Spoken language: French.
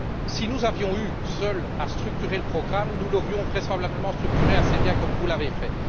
Si nous avions eu à structurer le programme seuls, nous l'aurions vraisemblablement structuré assez bien, comme vous l'avez fait.